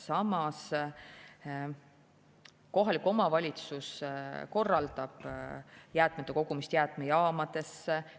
Samas, kohalik omavalitsus korraldab jäätmete kogumist jäätmejaamadesse.